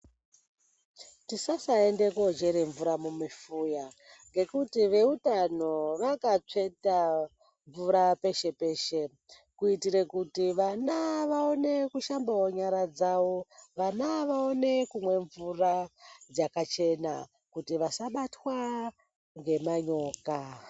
Tisasaende kochere mvura mumufuya ngekuti vekuti veutano vakatsveta mvura peshe peshe kuitire kuti vana vaone kushambawo nyara dzavo vana vaone kumwa mvura dzakachena kuti vasabatwa ngemanyoka.